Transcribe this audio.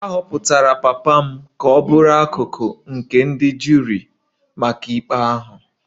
A họpụtara papa m ka ọ bụrụ akụkụ nke ndị juri maka ikpe ahụ